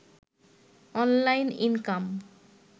online income